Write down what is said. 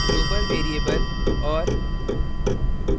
global variable और